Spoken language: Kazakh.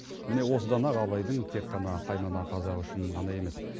міне осыдан ақ абайдың тек қана қаймана қазақ үшін ғана емес